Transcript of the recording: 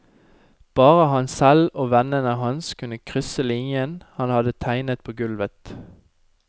Bare han selv og vennene hans kunne krysse linjen han hadde tegnet på gulvet.